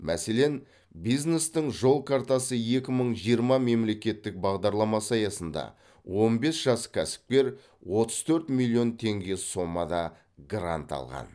мәселен бизнестің жол картасы екі мың жиырма мемлекеттік бағдарламасы аясында он бес жас кәсіпкер отыз төрт миллион теңге сомада грант алған